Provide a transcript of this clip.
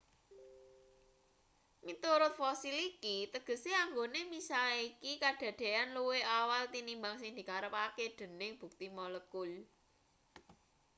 "miturut fosil iki tegese anggone misahke iki kadadeyan luwih awal tinimbang sing dikarepke dening bukti molekul.